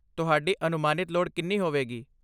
ਤੁਹਾਡੀ ਅਨੁਮਾਨਿਤ ਲੋੜ ਕਿੰਨੀ ਹੋਵੇਗੀ?